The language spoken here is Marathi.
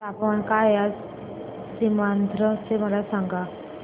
तापमान काय आहे आज सीमांध्र चे मला सांगा